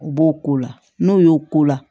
U b'o ko la n'o y'o ko la